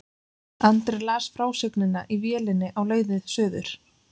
Andri las frásögnina í vélinni á leið suður.